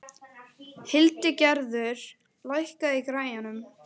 Hildigerður, lækkaðu í græjunum.